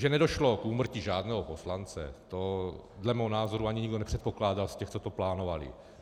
Že nedošlo k úmrtí žádného poslance, to dle mého názoru ani nikdo nepředpokládal z těch, co to plánovali.